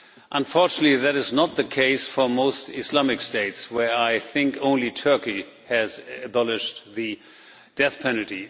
Unfortunately, that is not the case for most Islamic states, where I think only Turkey has abolished the death penalty.